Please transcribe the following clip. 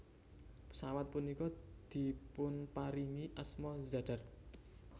Pesawat punika dipunparingi asma Zadar